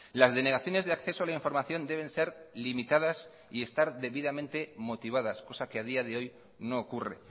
las denegaciones de acceso a la información deben ser limitadas y estar debidamente motivadas cosa que a día de hoy no ocurre